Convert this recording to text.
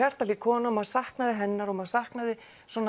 er hjartahlý kona maður saknaði hennar og maður saknaði